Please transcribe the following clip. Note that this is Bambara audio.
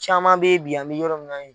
Caman bɛ ye bi an mɛ yɔrɔ min na